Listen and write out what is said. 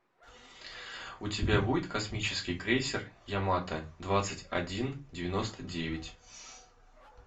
у тебя будет космический крейсер ямата двадцать один девяносто девять